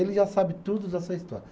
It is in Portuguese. Ele já sabe tudo dessa história.